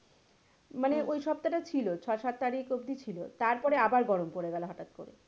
মানে ওই সপ্তাহ টা ছিল ছয় সাত তারিখ অব্দি ছিল তারপরে আবার গরম পড়ে গেলো হটাত করে।